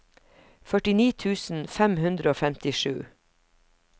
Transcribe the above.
førtini tusen fem hundre og femtisju